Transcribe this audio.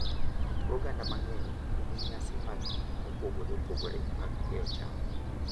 Kit oganda mang’eny nigi nyasi maggi mopogore opogore mag keyo cham.